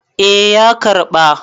eh ya karɓa